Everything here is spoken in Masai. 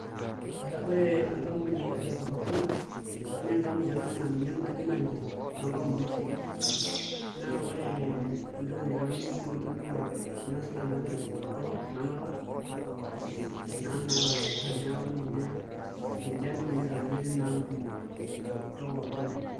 Ore enkampuni e cocacola naa enkampuni tanakata naa akajo ninye tanakata narikito toonkampunini e soda naa ore entoki naitauni tinewueji naa ena suda naa naji cocacola ena narok ena naata olaburra, neeku ninye ninche ntokitin naitauni tina ampuni e cocacola.